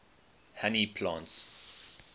honey plants